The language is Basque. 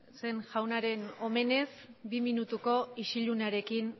jaunen omenez bi minutuko isilunearekin